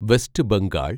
west Bengal